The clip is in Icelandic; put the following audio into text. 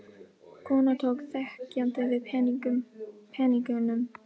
Konan tók þegjandi við peningunum.